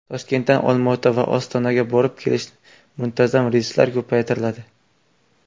Toshkentdan Olmaota va Ostonaga borib-kelish muntazam reyslari ko‘paytiriladi.